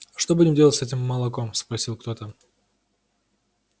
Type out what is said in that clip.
что будем делать с этим молоком спросил кто-то